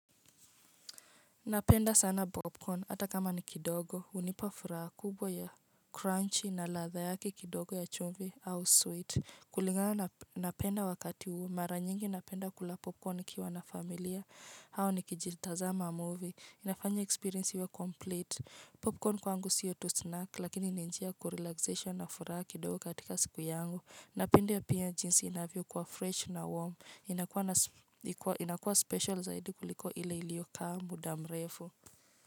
Napenda sana popcorn, ata kama ni kidogo, hunipa furaha kubwa ya crunchy na latha yake kidogo ya chumvi au sweet. Kulingana napenda wakati uu, mara nyingi napenda kula popcorn nikiwa na familia, hao nikijitaza movie. Inafanya experience iwe complete. Popcorn kwangu siyo tu snack, lakini ninjia kurelaxesha na furaha kidogo katika siku yangu. Napenda pia jinsi inavyo kua fresh na warm. Inakuwa special zaidi kuliko ile iliokaa mudamrefu.